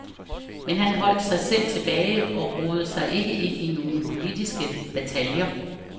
Men han holdt sig selv tilbage og rodede sig ikke ind i nogen politiske bataljer.